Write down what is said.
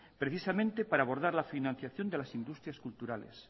precisamente para abordar la financiación de las industrias culturales